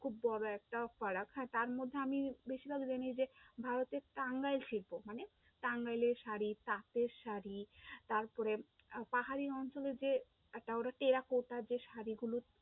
খুব বড়ো একটা ফারাক, হ্যাঁ তারমধ্যে আমি Basically জানি যে, ভারতের টাঙ্গাইল শিল্প মানে টাঙ্গাইলের শাড়ি, তাঁতের শাড়ি, তারপরে আহ পাহাড়ী অঞ্চলের যে একটা ওটা টেরাকোটা শাড়ি যে শাড়িগুলো